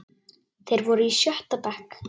Þeir voru í sjötta bekk.